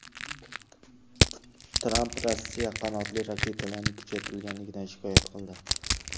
Tramp Rossiya qanotli raketalarni kuchaytirganligidan shikoyat qildi.